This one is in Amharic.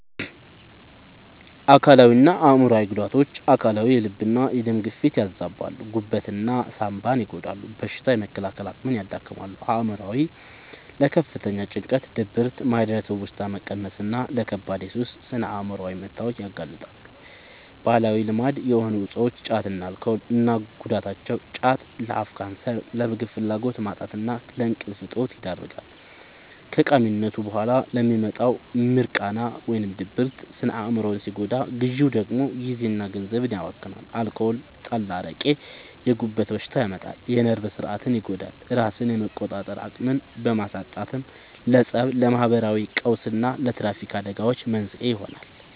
አካላዊና አእምሯዊ ጉዳቶች፦ አካላዊ፦ የልብና የደም ግፊትን ያዛባሉ፣ ጉበትና ሳንባን ይጎዳሉ፣ በሽታ የመከላከል አቅምን ያዳክማሉ። አእምሯዊ፦ ለከፍተኛ ጭንቀት፣ ድብርት፣ ማህደረ-ትውስታ መቀነስና ለከባድ የሱስ ስነ-አእምሯዊ መታወክ ያጋልጣሉ። ባህላዊ ልማድ የሆኑ እፆች (ጫትና አልኮል) እና ጉዳታቸው፦ ጫት፦ ለአፍ ካንሰር፣ ለምግብ ፍላጎት ማጣትና ለእንቅልፍ እጦት ይዳርጋል። ከቃሚነቱ በኋላ የሚመጣው «ሚርቃና» (ድብርት) ስነ-አእምሮን ሲጎዳ፣ ግዢው ደግሞ ጊዜና ገንዘብን ያባክናል። አልኮል (ጠላ፣ አረቄ)፦ የጉበት በሽታ ያመጣል፣ የነርቭ ሥርዓትን ይጎዳል፤ ራስን የመቆጣጠር አቅምን በማሳጣትም ለፀብ፣ ለማህበራዊ ቀውስና ለትራፊክ አደጋዎች መንስኤ ይሆናል።